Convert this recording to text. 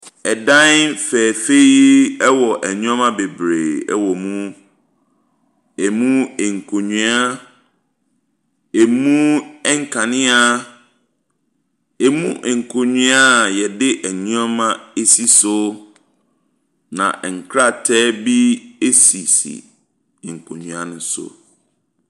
Dan fɛɛfɛ yi ɛwɔ nneɛma bebree ɛwɔ mu, ɛmu nkonnwa, ɛmu nkanea, ɛmu nkonnwa a yɛde nneɛma asisi so. Na nkrataa bi asisi nkonnwa ne so.